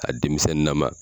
A denmisɛnnin na ma.